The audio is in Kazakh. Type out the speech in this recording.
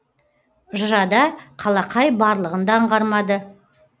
жырада қалақай барлығын да аңғармады